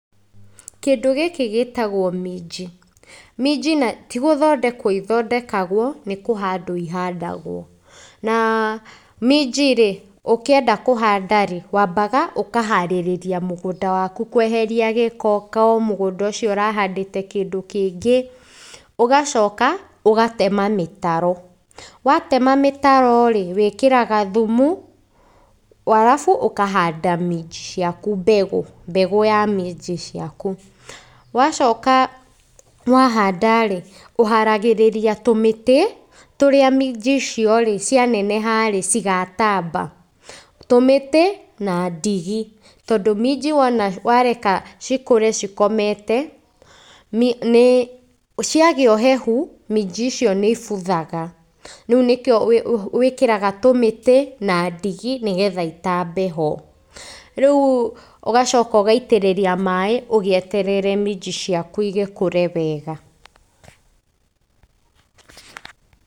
Kĩndũ gĩkĩ gĩtagwo minji. Minji tigũthondekwo ithondekwa, nĩkũhandwo ihandagwo na minji-rĩ, ũkĩenda kũhanda-rĩ, wambaga ũkaharĩrĩria mũgũnda waku kũeheria gĩko ko mũgũnda ũcio ũrahandĩte kĩndĩ kĩngĩ, ũgacoka gatema mĩtaro. Watema mĩtaro-rĩ, wĩkĩraga thumu, arabu ũkahanda minji ciaku mbegũ, mbegũ ya minji ciaku. Wacoka wa handa-rĩ, ũharagĩrĩria tũmĩtĩ, tũrĩa minji icio-rĩ cianeneha-rĩ cigatamba. Tũmĩtĩ na ndigi. Tondũ minji wona wareke cikũre cikomete nĩ ciagĩa ũhehu, minji icio nĩibuthaga. Rĩu nĩkĩo wĩkĩraga tũmĩtĩ na ndigi, nĩgetha itambe ho. Rĩu ũgacoka ũgaitĩrĩria maĩ, ũgĩeterere minji ciaku igĩkũre wega.